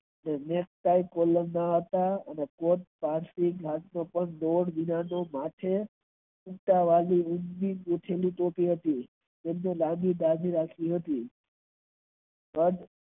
બોલ વિનાનું માથું તેમની બાઈ લાંબી હતી.